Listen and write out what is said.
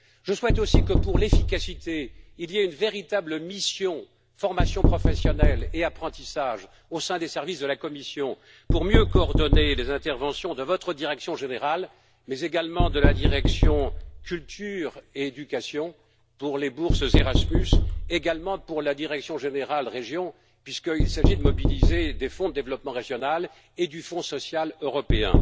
J'aspire aussi à ce que, pour plus d'efficacité, il y ait une véritable mission de formation professionnelle et d'apprentissage au sein des services de la Commission de sorte à mieux coordonner les interventions de votre direction générale, mais également de la direction culture et éducation, pour les bourses Erasmus, et aussi de la direction générale REGIO, puisqu'il s'agit de mobiliser des Fonds de développement régional et le Fonds social européen.